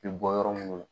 Bi bɔ yɔrɔ minnu na